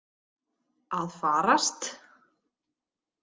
Að farast?